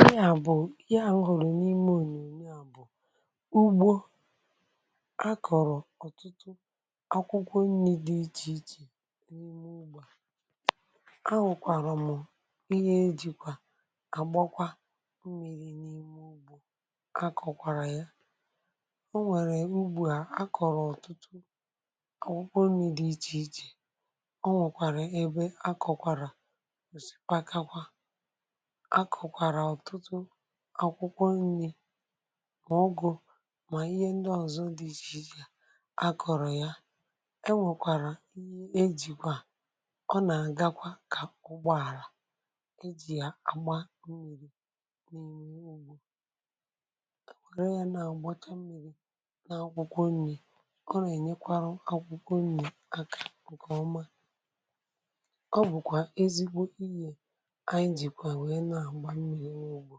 Ịhé à bụ̀ ịhé àhụ́ m hụ̀rụ̀ n’ime ònyònyò à bụ̀; Ụgbọ̀ akọ̀rọ̀ ọ̀tụtụ ákwụ́kwọ nrī dị̄ iche iche n’ime ugbó à. Áhụ̀kwàrà mụ̀ ihe ejìkwà àgbàkwa mmírí̄ n’ime ugbó akọ̀kwàrà ya. Ọ nwèrè ugbó à akọ̀rọ̀ ọ̀tụtụ ákwụ́kwọ nrī dị̄ iche iche, ọ nwekwàrà ebe akọ̀kwàrà osìpàkakwà. Á kọ̀kwàrà ọ̀tụtụ ákwụ́kwọ nrī, mà ùgù̄ mà ihe ndị ọzọ dị̄ iche iche akọ̀rọ̀ ya. Enwèkwàrà ihe ejìkwà ọ nà-àgbàkwa kà ụgbọ̀álà ejì yà àgbà mmírí̄ n’ime ugbó. Enwèré ya nà-àgbàtà mmírí̄ nà ákwụ́kwọ nrī, ọ nà-ènyekwàrà ákwụ́kwọ nrī àkà nke ọma. Ọ bụ̀kwà ezigbo ihé anyị jìkwà wèrè na-àgbà mmírí̄ n’ugbó,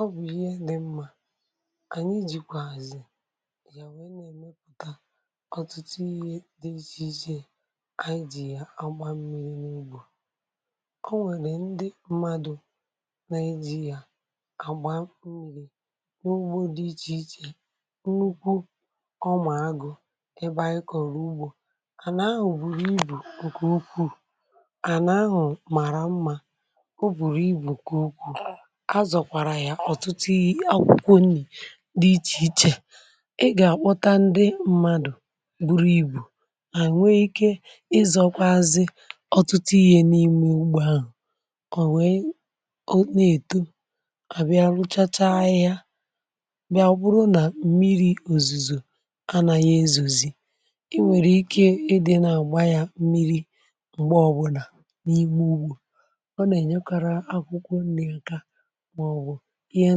ọ bụ̀ ihe dị̀ mmā. Ànyị jìkwààzị yà wéé na-èmepụta ọ̀tụtụ ihe dị̄ iche iche, anyị jì yà àgbà mmírí̄ n’ugbó. Ọ nwèrè ndị mmadụ̀ na-ejì yà àgbà mmírí̄ n’ugbó dị̄ iche iche, nnukwu ọ̀mā agụ̀ ebe anyị kọ̀rọ̀ ugbó. Ànà ahụ̀ bùrù ibu nke ukwuu, ànà ahụ̀ màrà mmā, ọ bụrụ́ ibu nke ukwuu. A zọ̀kwàrà ya ọ̀tụtụ irì ákwụ́kwọ nrī dị̄ iche iche. Ị gà-àkpọ́tà ndị mmadụ̀ buru ibu, hà nweé ike ị zọ̀kwazị̀ ọ̀tụtụ ihe n’ime ugbó ahụ̀. Ọ nwee nà-èto; à bịà rụ̀chàchá ahịhịa, bịà bụrụ́ nà mmírí̄. Òzùzò anàghị̀ ezòzi, i nwèrè ike idì̄ nà-àgbà yà mmírí̄ mgbe ọbụ̀la n’ime ugbó. Ọ nà-ènyekwàrà ákwụ́kwọ nrī nkeā maọ̀bụ ihe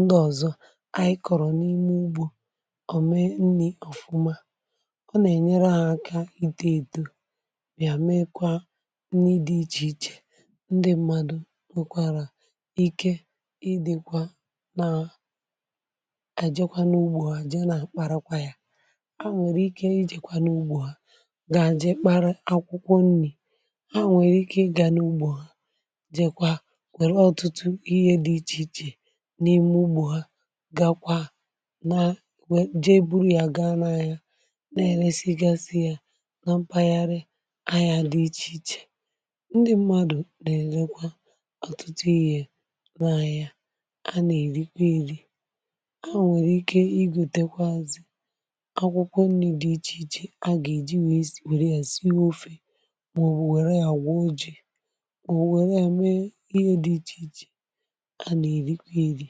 ndị ọzọ anyị kọ̀rọ̀ n’ime ugbó, ọ̀ méé nrī ọ̀fụ́mā. Ọ nà-ènyere ha àkà ìtò étò, bịà méekwa nrī iche iche; ndị mmadụ̀ nwekwàrà ike idì̄kwa nà, ejèkwà n’ugbó, e jéé nà-àkparàkwà ya. Hà nwèrè ike ị jèkwà n’ugbó ha, gàá jee kpara ákwụ́kwọ nrī. Hà nwèrè ike ị gàá n’ugbó à n’ime ụgbọ̀ ha, gàkwa, jee buru ya gaa n’anya, na-èrèsígasị yà nà mpaghara ahịa dị̄ iche iche. Ndị mmadụ̀ na-elekwà ọ̀tụtụ ihe n’ahịa, a na-erikwà ya erī. Hà nwèrè ike ị gòtèkwàazị́ ákwụ́kwọ nrī dị̄ iche iche a gà-èjì wèrè ya síe ofé̄, mà ọ̀ wèrè ya gwuo jì, mà ọ̀ wèrè ya mee ihe dị̄ iche iche a nà-erikwà erī.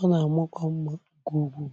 Ọ nà-àmàkwà mmā nke ùkwù̄.